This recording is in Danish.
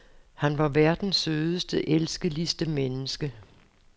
Han var verdens sødeste, elskeligste menneske.